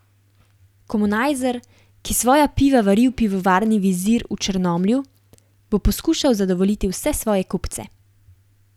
Komunajzer, ki svoja piva vari v pivovarni Vizir v Črnomlju, bo poskušal zadovoljiti vse svoje kupce.